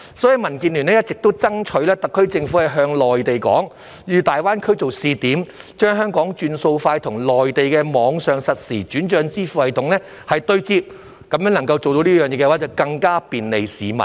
所以，民建聯一直爭取特區政府向內地建議以大灣區作為試點，將香港"轉數快"與內地的網上實時轉帳支付系統對接，如果能夠做到這一點，便能更加便利市民。